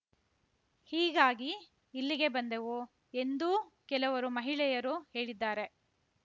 ಹೀಗಾಗಿ ಇಲ್ಲಿಗೆ ಬಂದೆವು ಎಂದೂ ಕೆಲವರು ಮಹಿಳೆಯರು ಹೇಳಿದ್ದಾರೆ